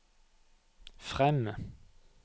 frem